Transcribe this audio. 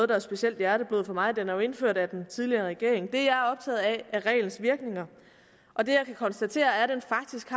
der er specielt hjerteblod for mig den er jo indført af den tidligere regering det jeg er optaget af er reglens virkninger og det jeg kan konstatere er at den faktisk